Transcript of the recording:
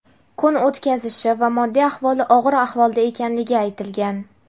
kun o‘tkazishi va moddiy ahvoli og‘ir ahvolda ekanligi aytilgan.